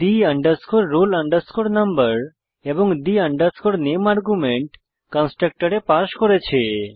the roll number এবং the name argument কন্সট্রকটরে pass করেছে